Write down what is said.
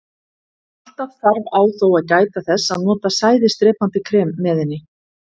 Alltaf þarf á þó að gæta þess að nota sæðisdrepandi krem með henni.